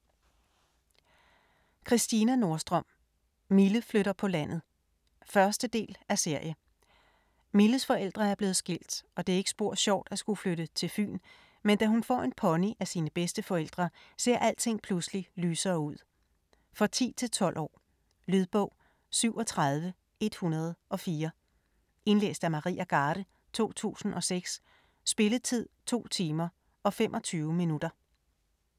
Nordstrøm, Christina: Mille flytter på landet 1. del af serie. Milles forældre er blevet skilt, og det er ikke spor sjovt at skulle flytte til Fyn, men da hun får en pony af sine bedsteforældre, ser alting pludselig lysere ud. For 10-12 år. Lydbog 37104 Indlæst af Maria Garde, 2006. Spilletid: 2 timer, 25 minutter.